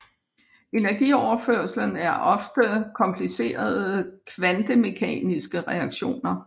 Energioverførslen er ofte komplicerede kvantemekaniske reaktioner